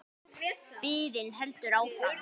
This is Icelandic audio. Biðin heldur áfram.